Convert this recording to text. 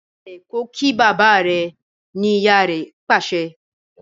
Dobale kò kí bàbá rẹ! ní ìyá rẹ pàṣẹ.